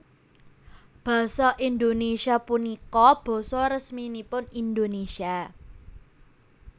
Basa Indonésia punika basa resminipun Indonésia